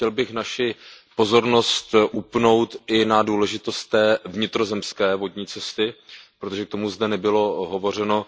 Chtěl bych naši pozornost upnout i na důležitost té vnitrozemské vodní cesty, protože k tomu zde nebylo hovořeno.